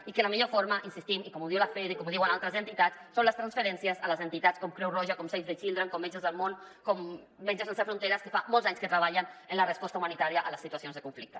i la millor forma hi insistim com ho diu lafede i com ho diuen altres entitats són les transferències a les entitats com creu roja com save the children com metges del món com metges sense fronteres que fa molts anys que treballen en la resposta humanitària a les situacions de conflicte